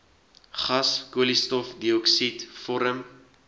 gas koolstofdioksied vorm